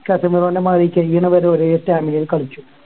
കാത്തിമേറോന്റെ മാതിരി കയ്യിണ വരെ ഒരേ stamina ൽ കളിക്കും